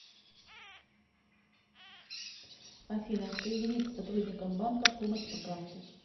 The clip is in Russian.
афина соединить с сотрудником банка помощь по карте